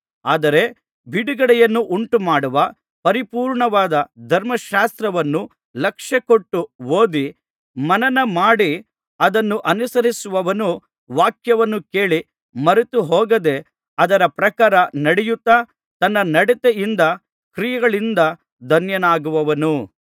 ಆದರೆ ಬಿಡುಗಡೆಯನ್ನು ಉಂಟುಮಾಡುವ ಪರಿಪೂರ್ಣವಾದ ಧರ್ಮಶಾಸ್ತ್ರವನ್ನು ಲಕ್ಷ್ಯಕೊಟ್ಟು ಓದಿ ಮನನ ಮಾಡಿ ಅದನ್ನು ಅನುಸರಿಸುವವನು ವಾಕ್ಯವನ್ನು ಕೇಳಿ ಮರೆತು ಹೋಗದೆ ಅದರ ಪ್ರಕಾರ ನಡೆಯುತ್ತಾ ತನ್ನ ನಡತೆಯಿಂದ ಕ್ರಿಯೆಗಳಿಂದ ಧನ್ಯನಾಗುವನು